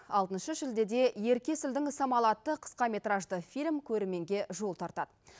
алтыншы шілдеде ерке есілдің самалы атты қысқаметражды фильм көрерменге жол тартады